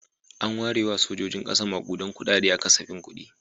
An ware wa sojojin ƙasa maƙudan kuɗaɗe a kasafin kuɗi.